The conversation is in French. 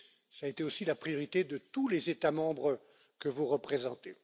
Cela a été aussi la priorité de tous les États membres que vous représentez.